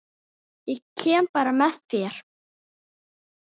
Ég kem bara með þér!